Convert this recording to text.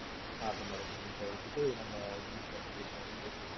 நாட்டு மருந்தை விட்டுட்டு நம்ம இங்கிலிஷ் மருந்து இங்கிலிஷ் மருந்துன்னு போயிட்டு இருக்கோம்